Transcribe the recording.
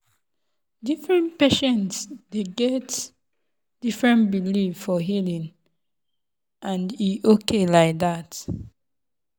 different patient dey get different belief for healing and e okay like that.